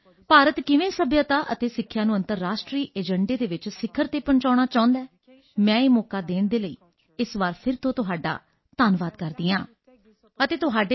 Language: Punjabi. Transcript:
with the largest population in the world could you please explain Indian way to achieving this objective UNESCO also works to support culture and protect heritage and India is chairing the G20 this year